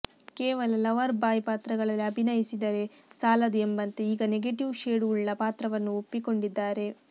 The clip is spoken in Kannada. ಕೇವಲ ಲವರ್ ಬಾಯ್ ಪಾತ್ರಗಳಲ್ಲಿ ಅಭಿನಯಿಸಿದರೆ ಸಾಲದು ಎಂಬಂತೆ ಈಗ ನೆಗೆಟೀವ್ ಶೇಡ್ ವುಳ್ಳ ಪಾತ್ರವನ್ನೂ ಒಪ್ಪಿಕೊಂಡಿದ್ದಾರೆ